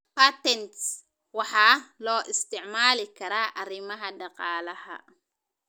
Patents waxaa loo isticmaali karaa arrimaha dhaqaalaha.